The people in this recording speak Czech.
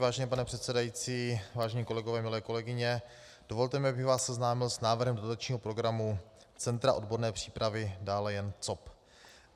Vážený pane předsedající, vážení kolegové, milé kolegyně, dovolte mi, abych vás seznámil s návrhem dotačního programu Centra odborné přípravy, dále jen COP.